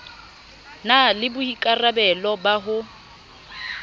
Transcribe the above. na le boikarabelo ba ho